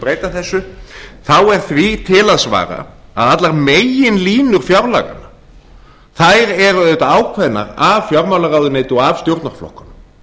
breyta þessu þá er því til að svara að allar meginlínur fjárlaganna eru auðvitað ákveðnar af fjármálaráðuneyti og af stjórnarflokkunum